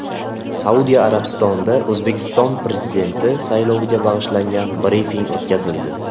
Saudiya Arabistonida O‘zbekiston Prezidenti sayloviga bag‘ishlangan brifing o‘tkazildi.